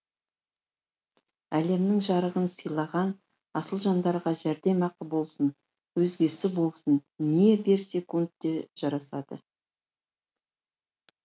әлемнің жарығын сыйлаған асыл жандарға жәрдемақы болсын өзгесі болсын не берсекте жарасады